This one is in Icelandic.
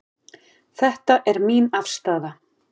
Þetta er mín afstaða.